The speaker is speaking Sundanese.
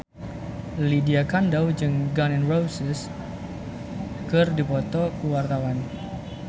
Lydia Kandou jeung Gun N Roses keur dipoto ku wartawan